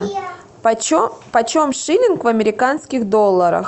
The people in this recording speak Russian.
почем шиллинг в американских долларах